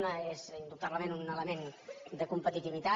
una és indubtablement un element de competitivitat